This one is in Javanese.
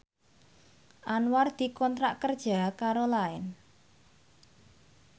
Anwar dikontrak kerja karo Line